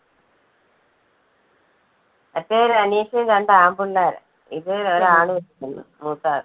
മറ്റേ ഒരനീഷിന് രണ്ട് ആൺപിള്ളേരാ. ഇത് ഒരു ആണും ഒരു പെണ്ണും. മൂത്ത